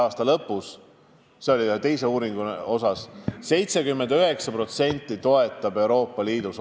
Eesti tegi selle küsitluse eelmise aasta lõpus.